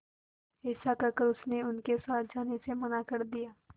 ऐसा कहकर उसने उनके साथ जाने से मना कर दिया